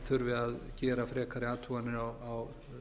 þurfi að gera frekari athuganir á